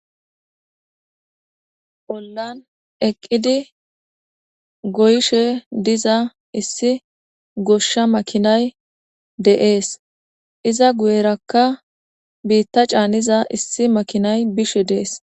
Olan eqidi goyishe diza issi gosha makinay des iza guyeraka bita caniza issi makinay bishe des.